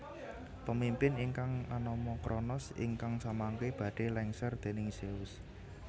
Pemimpin ingkang anama Kronos ingkang samangke badhé lèngser déning Zeus